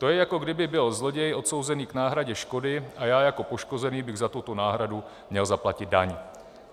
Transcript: To je, jako kdyby byl zloděj odsouzený k náhradě škody a já jako poškozený bych za tuto náhradu měl zaplatit daň.